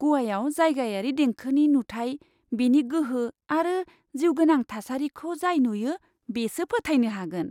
ग'वायाव जायगायारि देंखोनि नुथाय, बेनि गोहो आरो जिउगोनां थासारिखौ जाय नुयो बेसो फोथायनो हागोन!